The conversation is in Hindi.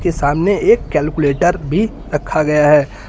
सामने एक कैलकुलेटर भी रखा गया है।